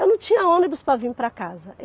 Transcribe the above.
Eu não tinha ônibus para vir para casa.